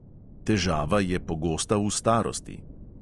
Težava je pogosta v starosti.